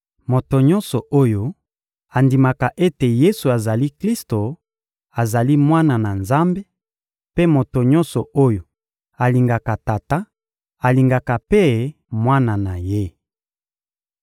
Moto nyonso oyo andimaka ete Yesu azali Klisto azali mwana na Nzambe, mpe moto nyonso oyo alingaka Tata alingaka mpe Mwana na Ye.